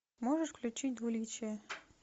можешь включить двуличие